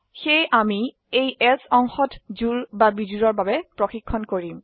সেয়ে আমি এই এলছে অংশত জোড় বা বিজোড়ৰ বাবে প্ৰশিক্ষন কৰিম